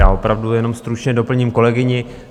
Já opravdu jenom stručně doplním kolegyni.